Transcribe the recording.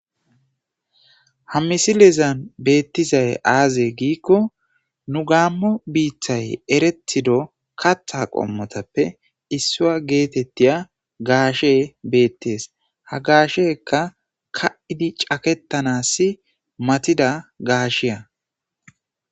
ha misilezan beettizay aaze giikko nu gaammo biithay eretido katha qommotappe issuya geetettiya gaashe beettees ha gaasheka ka7idi caketanassi matida gaasheya